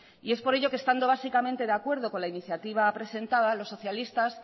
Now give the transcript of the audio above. y es por ello que estando básicamente de acuerdo con la iniciativa presentada los socialistas